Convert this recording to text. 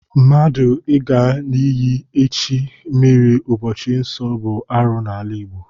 Mmadụ Ị ga n'iyi echi mmiri n'ụbọchị nsọ bụ arụ n'ala Igbo.